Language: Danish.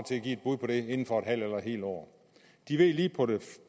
til at give et bud på det inden for et halvt eller et helt år de ved lige på